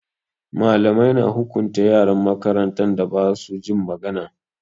Malamai na hukunta yaran makarantan da ba su jin magana.